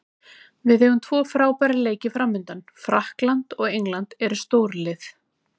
Við eigum tvo frábæra leiki framundan, Frakkland og England eru stórlið.